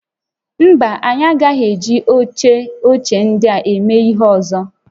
Mba, anyị agaghị eji oche ochie ndịa eme ihe ọzọ